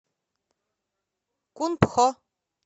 кунпхо